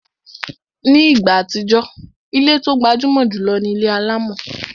Ní ìgbà àtijọ́, ilé tó gbajúmọ̀ jùlọ ni ilé alámọ̀